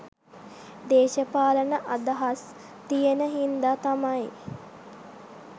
දේශපාලන අදහස් තියෙන හින්දා තමයි